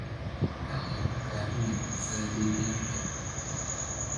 ka hel dukaamada biisada deegaanka